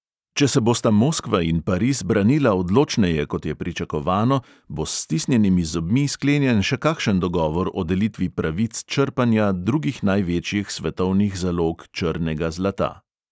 Če se bosta moskva in pariz branila odločneje, kot je pričakovano, bo s stisnjenimi zobmi sklenjen še kakšen dogovor o delitvi pravic črpanja drugih največjih svetovnih zalog črnega zlata.